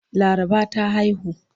Laraba ta haihu.